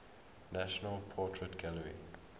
national portrait gallery